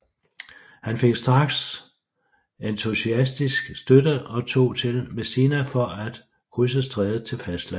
Han fik straks entusiastisk støtte og tog til Messina for at krydse strædet til fastlandet